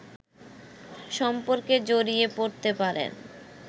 সম্পর্কে জড়িয়ে পড়তে পারেন